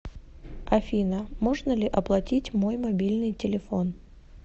афина можно ли оплатить мой мобильный телефон